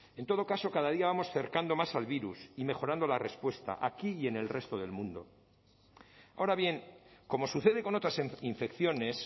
en todo caso cada día vamos cercando más al virus y mejorando la respuesta aquí y en el resto del mundo ahora bien como sucede con otras infecciones